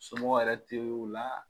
Somɔgɔ yɛrɛ tɛ o la.